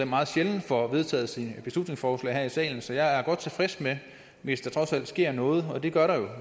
meget sjældent får vedtaget sine beslutningsforslag her i salen så jeg er godt tilfreds hvis der trods alt sker noget og det gør der jo